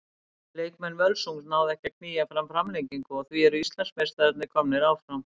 Leikmenn Völsungs náðu ekki að að knýja fram framlengingu og því eru Íslandsmeistararnir komnir áfram.